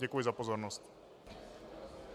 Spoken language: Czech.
Děkuji za pozornost.